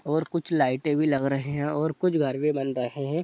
और कुछ लाइटे भी लग रहे है और कुछ घर भी बन रहे है।